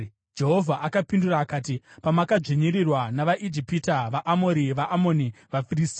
Jehovha akapindura akati, “Pamakadzvinyirirwa navaIjipita, vaAmori, vaAmoni, vaFiristia,